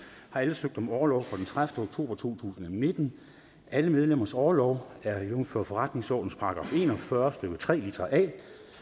har alle søgt om orlov fra den tredivete oktober to tusind og nitten og alle medlemmers orlov er jævnfør forretningsordenens § en og fyrre stykke tre litra a